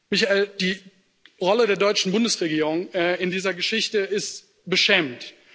Michael, die Rolle der deutschen Bundesregierung in dieser Geschichte ist beschämend.